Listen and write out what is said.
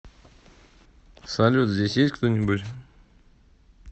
салют здесь есть кто нибудь